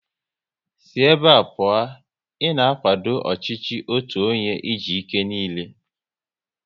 Sị ébé a pụọ! Ị na akwado ọchịchị otu onye e ji ike niile